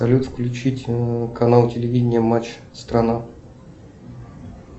салют включить канал телевидения матч страна